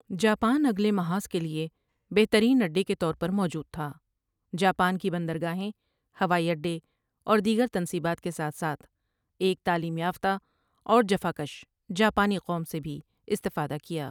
Japan اگلے محاذ کے لیے بہترین اڈے کے طور پر موجود تھا جاپان کی بندرگاہیں، ہوائی اڈے اور دیگر تنصیبات کے ساتھ ساتھ ایک تعلیم یافتہ اور جفاکش جاپانی قوم سے بھی استفادہ کیا ۔